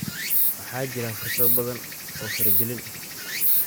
Waxaa jira fursado badan oo faragelin ah.